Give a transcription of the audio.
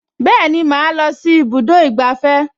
Bẹ́ẹ̀ni, màá lọ sí ibùdó ìgbafẹ́